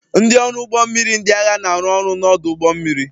Ndị ọrụ ụgbọ mmiri ndị agha na-arụ ọrụ n'ọdụ ụgbọ mmiri